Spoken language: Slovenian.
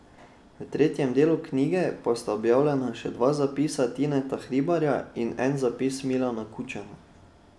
V tretjem delu knjige pa sta objavljena še dva zapisa Tineta Hribarja in en zapis Milana Kučana.